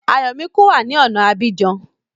Ayọ̀míkún wá ní ọ̀na Abidjan